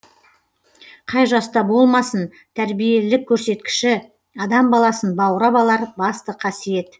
қай жаста болмасын тәрбиелілік көрсеткіші адам баласын баурап алар басты қасиет